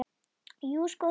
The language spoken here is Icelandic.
Jú, sko þegar.